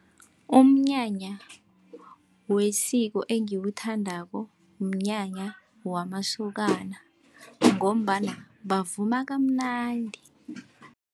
Umnyanya wesiko engiwuthandako, mnyanya wamasokana ngombana bavuma kamnandi.